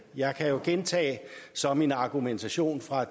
jeg kan jo gentage som en argumentation fra